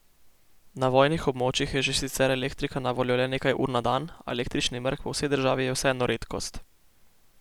Na vojnih območjih je že sicer elektrika na voljo le nekaj ur na dan, a električni mrk po vsej državi je vseeno redkost.